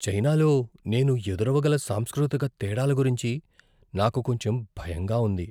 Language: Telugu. చైనాలో నేను ఎదురవగల సాంస్కృతిక తేడాల గురించి నాకు కొంచెం భయంగా ఉంది.